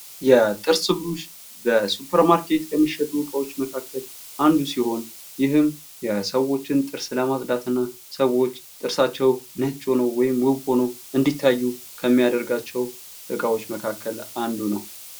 የጥርስ ብሩሽ በሱፐርማርኬት ከሚሸጡ መካከል አንዱ ሲሆን ይህም የሰዎችን ጥርስ ለማጽዳትና ሰዎች ጥርሳቸው ነጭ ሆኖ ወይም ውብ ሆኖ እንዲታዩ ከሚያደርጋቸው እቃዎች መካከል አንዱ ነው ።